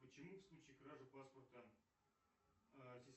почему в случае кражи паспорта а